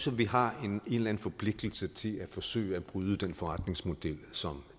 vi har en eller anden forpligtelse til at forsøge at bryde den forretningsmodel som